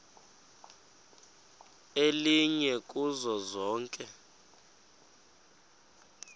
elinye kuzo zonke